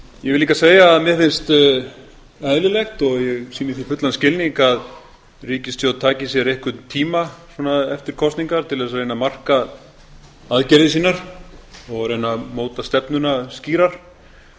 ég vil líka segja að mér finnst eðlilegt og ég sýni því fullan skilning að ríkisstjórn taki sér einhvern tíma eftir kosningar til þess að reyna að marka aðgerðir sínar og reyni að móta stefnuna skýrar